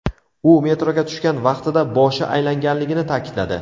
U metroga tushgan vaqtida boshi aylanganligini ta’kidladi.